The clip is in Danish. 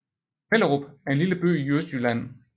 Mellerup er en lille by i Østjylland med